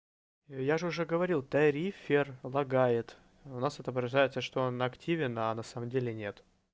я же уже говорил тарифер лагает у нас отображается что он активен а на самом деле нет